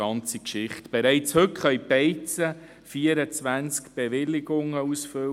Bereits heute können die Beizen 24 Bewilligungen ausfüllen.